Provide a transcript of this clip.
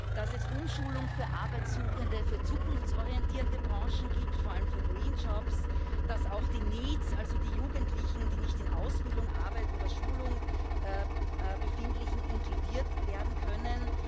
dass es Umschulung für Arbeitssuchende für zukunftsorientierte Branchen gibt, vor allem für green jobs dass auch die NEETs, also die Jugendlichen, die sich nicht in Ausbildung, Arbeit oder Schulung befinden, inkludiert werden können.